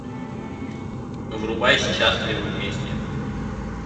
врубай счастливы вместе